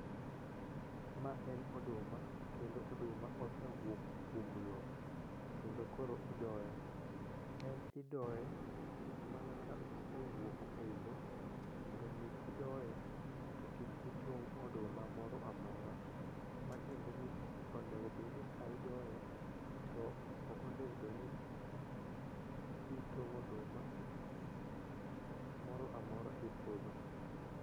Ma en oduma kendo oduma osedhi kuom lo kendo koro idoye ,en idoye mana ka osewuok ei lo mondo mi kidoye to kik itong' oduma moro amora ,ma tiende ni onego bed ni ka idoyo to okonego bed ni itongo oduma moro amora e puodho.